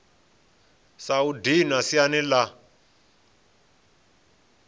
sa u dinwa siani la